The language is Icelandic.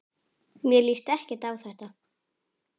Mér líst ekki á þetta.